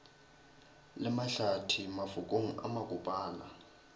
le mahlathi mafokong a makopana